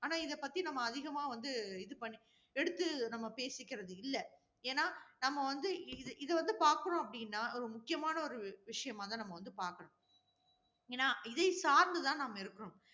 ஆனால் இதைப்பற்றி நம்ம அதிகமா வந்து இது பண்ணி~ எடுத்து நம்ம பேசிக்கிறதில்ல. ஏன்னா நம்ம வந்து இத வந்து பார்க்கிறோம் அப்படின்னா, ஒரு முக்கியமான ஒரு விஷயமாதான் நம்ம வந்து பார்க்கணும். ஏன்னா இதை சார்ந்து தான் நம்ம இருக்கிறோம்.